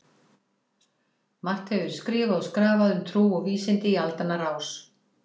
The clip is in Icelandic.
Margt hefur verið skrifað og skrafað um trú og vísindi í aldanna rás.